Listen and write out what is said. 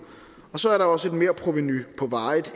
og så er der også et merprovenu på varigt